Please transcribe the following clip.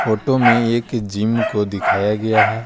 Photo में एक gym को दिखाया गया है।